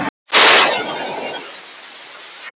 Mótið er haldið í Kína.